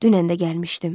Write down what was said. Dünən də gəlmişdim.